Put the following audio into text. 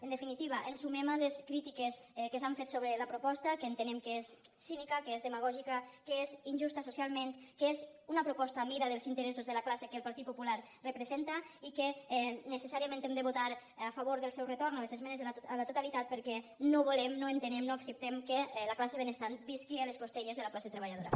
en definitiva ens sumem a les crítiques que s’han fet sobre la proposta que entenem que és cínica que és demagògica que és injusta socialment que és una proposta a mida dels interessos de la classe que el partit popular representa i que necessàriament hem de votar a favor del seu retorn a les esmenes a la totalitat perquè no volem no entenem no acceptem que la classe benestant visqui a les costelles de la classe treballadora